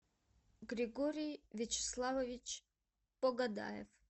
григорий вячеславович погодаев